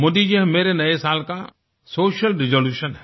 मोदी जी यह मेरे नए साल का सोशल रिजोल्यूशन है